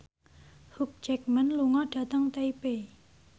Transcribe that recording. Hugh Jackman lunga dhateng Taipei